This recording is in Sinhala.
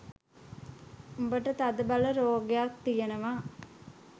උඹට තදබල රෝගයක් තියෙනවා